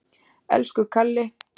Elsku Kalli.